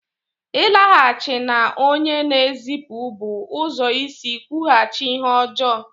Ịlaghachi na onye na-ezipụ bụ ụzọ isi kwụghachi ihe ọjọọ.